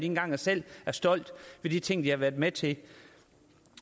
engang selv er stolte ved de ting de har været med til